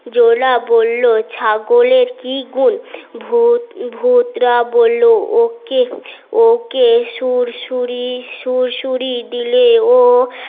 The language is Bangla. জোলা বললো ছাগলের কি গুন ভুত্রা বলল ওকে সুড়সুড়ি সুড়সুড়ি দিলে ও